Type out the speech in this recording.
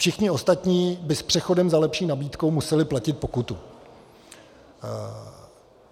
Všichni ostatní by s přechodem za lepší nabídkou museli platit pokutu.